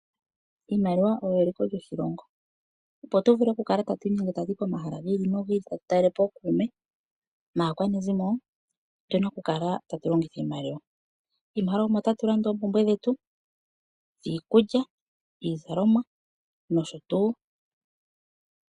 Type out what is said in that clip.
IImaliwa oyo eliko lyoshilongo. Opo tu vule okukala tatu inyenge tatu yi pomahala gi ili tatu talele po ookuume naakwanezimo otu na okukala tatu longitha iimaliwa. Miimaliwa omo tatu landa oompumbwe dhetu, iikulya, iizalomwa nosho tuu.